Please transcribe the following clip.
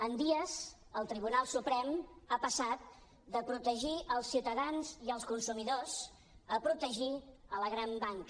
en dies el tribunal suprem ha passat de protegir els ciutadans i els consumidors a protegir la gran banca